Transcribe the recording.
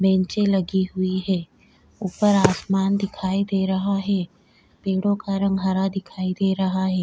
बेचें लगी हुई है ऊपर आसमान दिखाई दे रहा है पेड़ों का रंग हरा दिखाई दे रहा है।